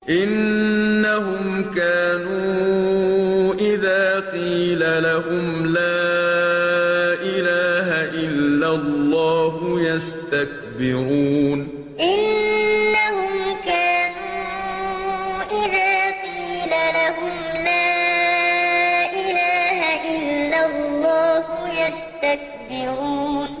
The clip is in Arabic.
إِنَّهُمْ كَانُوا إِذَا قِيلَ لَهُمْ لَا إِلَٰهَ إِلَّا اللَّهُ يَسْتَكْبِرُونَ إِنَّهُمْ كَانُوا إِذَا قِيلَ لَهُمْ لَا إِلَٰهَ إِلَّا اللَّهُ يَسْتَكْبِرُونَ